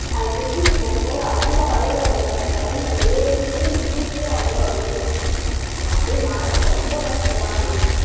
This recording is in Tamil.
அதை விட்டுட்டு போகும்போது அவ்வளவு அழுவ அழுவுறாங்க train ல ஏறிக்கிட்டு நின்னுட்டு அவ்ளோ அழுவுது அஹ் அப்படியே மனசு ரொம்ப கஷ்டமா இருந்தது